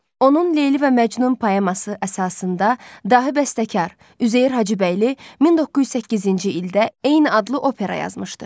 Onun Leyli və Məcnun poeması əsasında dahi bəstəkar Üzeyir Hacıbəyli 1908-ci ildə eyni adlı opera yazmışdı.